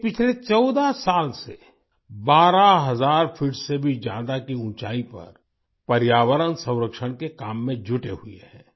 ये पिछले 14 साल से 12000 फीट से भी ज्यादा की ऊचाई पर पर्यावरण संरक्षण के काम में जुटे हुए हैं